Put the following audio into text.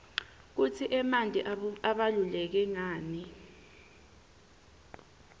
kutsi emanti abaluleke nqani